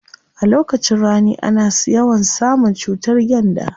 A lokacin rani ana yawan samun cutar gyanda.